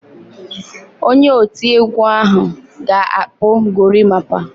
Onye oti egwu ahụ ga-akpụ gorimapa.